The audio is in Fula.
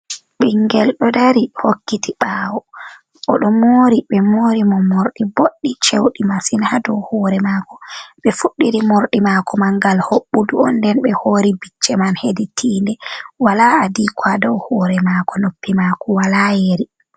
Ɓingel ɗo dari hokkiti ɓawo oɗo mori, ɓe mori mo mordi boɗdi cewɗi masin, ha dow hore mako ɓe fuɗdiri morɗi mako man ngal hobbudu on nden be hori bicce man hedi tinde, wala adiko ha dow hore mako, noppi mako wala yeri.